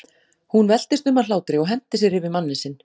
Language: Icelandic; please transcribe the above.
Hún veltist um af hlátri og henti sér yfir manninn sinn.